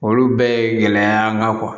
Olu bɛɛ ye gɛlɛya y'an kan kuwa